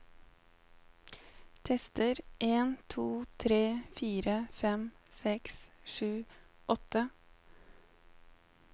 Tester en to tre fire fem seks sju åtte